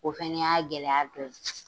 O fɛnɛ y'a gɛlɛya dɔ ye.